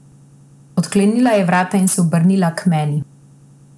Odklenila je vrata in se obrnila k meni.